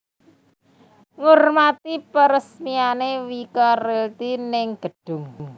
Ngurmati peresmiane Wika Realty ning gedhung